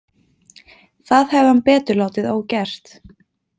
Það hefði hann betur látið ógert.